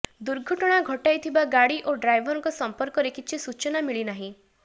ଦୁର୍ଘଟଣା ଘଟାଇଥିବା ଗାଡ଼ି ଓ ଡ୍ରାଇଭରଙ୍କ ସମ୍ପର୍କରେ କିଛି ସୂଚନା ମିଳି ନାହିଁ